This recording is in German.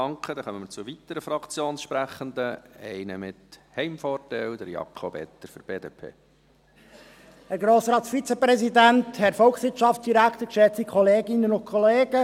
Dann kommen wir zu weiteren Fraktionssprechenden, gleich zu einem mit Heimvorteil: